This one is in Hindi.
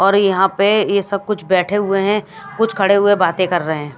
और यहां पे ये सब कुछ बैठे हुए हैं कुछ खड़े हुए बातें कर रहे हैं।